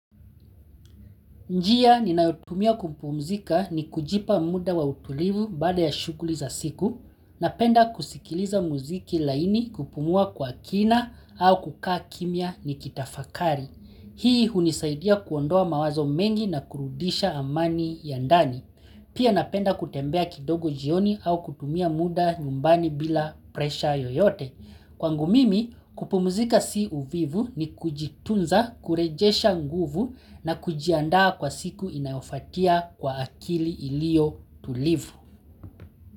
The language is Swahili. Njia ninayotumia kupumzika ni kujipa muda wa utulivu baada ya shugli za siku, napenda kusikiliza muziki laini kupumua kwa kina au kukaa kimya ni kitafakari. Hii hunisaidia kuondoa mawazo mengi na kurudisha amani ya ndani. Pia napenda kutembea kidogo jioni au kutumia muda nyumbani bila pressure yeyote kwangu mimi kupumzika si uvivu nikujitunza kurejesha nguvu na kujiandaa kwa siku inayofuatia kwa akili iliyo tulivu.